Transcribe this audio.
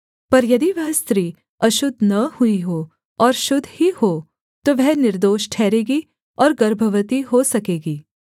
पर यदि वह स्त्री अशुद्ध न हुई हो और शुद्ध ही हो तो वह निर्दोष ठहरेगी और गर्भवती हो सकेगी